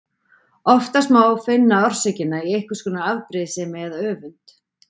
Oftast má finna orsökina í einhvers konar afbrýðisemi eða öfund.